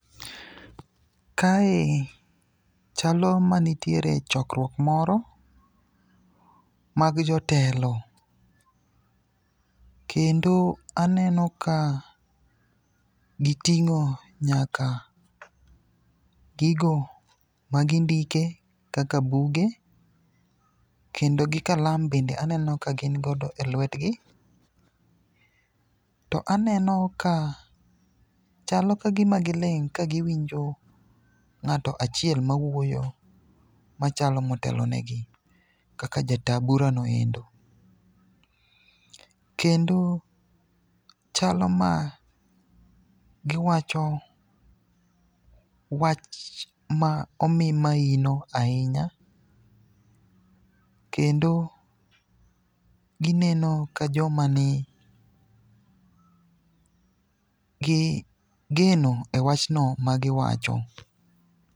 Kae chalo manitiere chokruok moro mag jotelo. Kendo aneno ka giting'o nyaka gigo magindike kaka buge kendo gi kalam bende aneno ka gin godo e lwetgi. To aneno ka chalo ka gima giling' ka giwinjo ng'ato achiel mawuoyo machalo motelonegi kaka ja taa burano endo. Kendo chalo magiwacho wach ma omi maina ahinya, kendo gineno ka joma ni gi geno e wachno magiwacho.